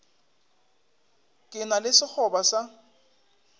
ke na le sekgoba sa